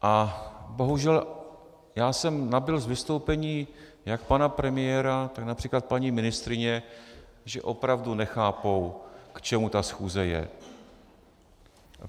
A bohužel já jsem nabyl z vystoupení jak pana premiéra, tak například paní ministryně, že opravdu nechápou, k čemu ta schůze je.